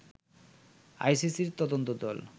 আইসিসির তদন্ত দল